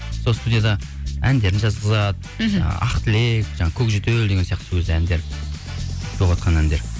сол студияда әндерін жазғызады мхм ы ақ тілек жаңағы көк жөтел деген сияқты сол кезде әндер болыватқан әндер